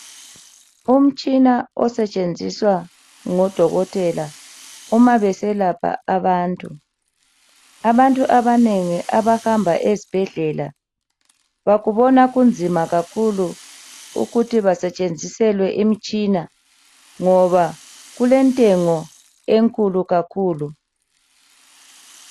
Umtshina osetshenziswa ngodokotela uma beselapha abantu, abantu abanengi abahamba ezibhedlela bakubona kunzima kakhulu ukuthi basetshenziselwe imitshina ngoba kulentengo enkulu kakhulu.